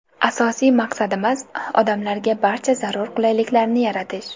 Asosiy maqsadimiz – odamlarga barcha zarur qulayliklarni yaratish.